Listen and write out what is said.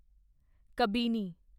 Kabini